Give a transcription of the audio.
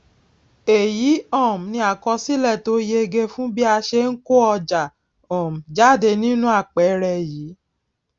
èyí um ni àkọsílè tó yege fún bí a ṣe n kó ọjà um jáde nínú àpẹẹrẹ yìí